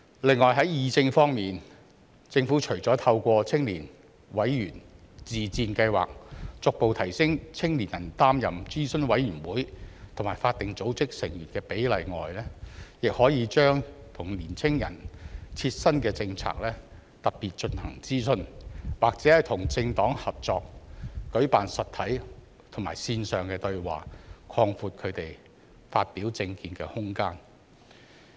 此外，在議政方面，政府除了透過青年委員自薦計劃逐步提升年輕人擔任諮詢委員會及法定組織成員的比例外，亦可以特別就年輕人切身的政策進行諮詢，或與政黨合作舉辦實體及線上對話，擴闊他們發表政見的空間。